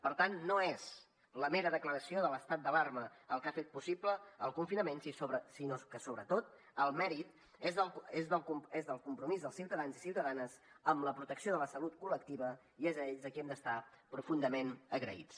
per tant no és la mera declaració de l’estat d’alarma el que ha fet possible el confinament sinó que sobretot el mèrit és del compromís dels ciutadans i ciutadanes amb la protecció de la salut col·lectiva i és a ells a qui hem d’estar profundament agraïts